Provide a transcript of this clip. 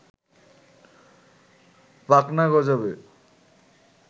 পাখনা গজাবে